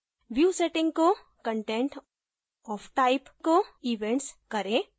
view settings को content of type कोevents करें